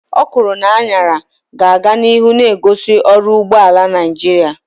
Okwuru na añara ga-aga n'ihu na-egosi ọrụ ugbo ala Naijiria.